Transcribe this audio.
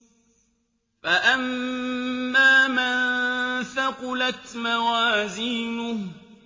فَأَمَّا مَن ثَقُلَتْ مَوَازِينُهُ